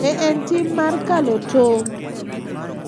Be en tim mar kalo tong',